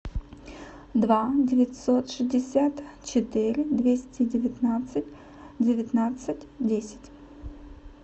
два девятьсот шестьдесят четыре двести девятнадцать девятнадцать десять